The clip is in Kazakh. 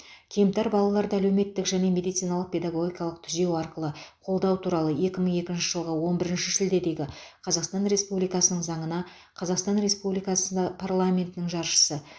кемтар балаларды әлеуметтік және медициналық педагогикалық түзеу арқылы қолдау туралы екі мың екінші жылғы он бірінші шілдедегі қазақстан республикасының заңына қазақстан республикасы парламентінің жаршысы